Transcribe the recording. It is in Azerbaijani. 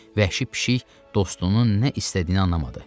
Vəhşi pişik dostunun nə istədiyini anlamadı.